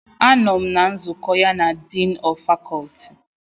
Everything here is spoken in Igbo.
Anọm na nzukọ ya na Diini of Faculty.